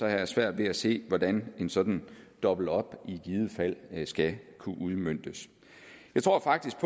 jeg svært ved at se hvordan en sådan dobbelt op i givet fald skal kunne udmøntes jeg tror faktisk